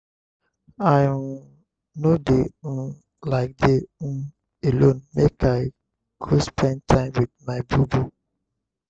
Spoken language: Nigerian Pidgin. i um no dey um like dey um alone make i go spend time wit my bobo.